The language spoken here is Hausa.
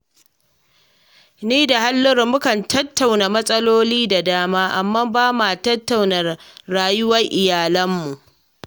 Ni da Halliru mukan tattauna mas'aloli da dama, amma ba ma tattauna rayuwar iyalanmu